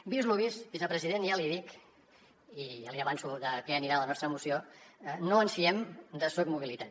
vist lo vist vicepresident ja li dic i ja li avanço de què anirà la nostra moció no ens fiem de soc mobilitat